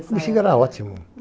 O Bixiga era ótimo.